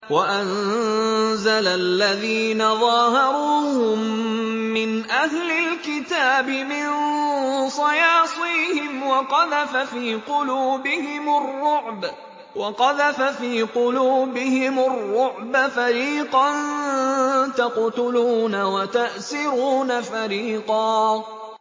وَأَنزَلَ الَّذِينَ ظَاهَرُوهُم مِّنْ أَهْلِ الْكِتَابِ مِن صَيَاصِيهِمْ وَقَذَفَ فِي قُلُوبِهِمُ الرُّعْبَ فَرِيقًا تَقْتُلُونَ وَتَأْسِرُونَ فَرِيقًا